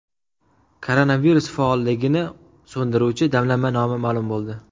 Koronavirus faolligini so‘ndiruvchi damlama nomi ma’lum bo‘ldi.